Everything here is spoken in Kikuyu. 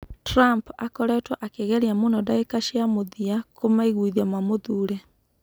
Trump akoretwo akĩgeria mũno ndagĩka cia mũthia kũmeiguithia mamũthuure.